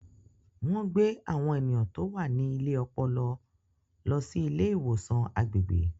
Wọ́n gbé àwọn ènìyàn tó wà ní ilé ọpọlọ lọ sí ilé ìwòsàn agbègbè.